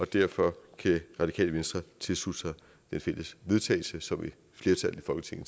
derfor kan radikale venstre tilslutte sig det fælles forslag vedtagelse som et flertal